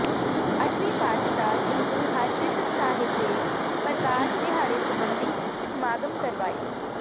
ਅੱਠਵੇਂ ਪਾਤਸ਼ਾਹ ਸ੍ਰੀ ਗੁਰੂ ਹਰਿਕ੍ਰਿਸ਼ਨ ਸਾਹਿਬ ਦੇ ਪ੍ਰਕਾਸ਼ ਦਿਹਾੜੇ ਸਬੰਧੀ ਸਮਾਗਮ ਕਰਵਾਏ